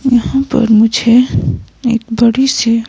यहां पर मुझे एक बड़ी सी--